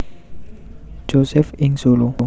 Josef ing Solo